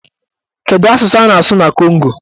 Kedụ asụsụ a na-asụ na Kongo?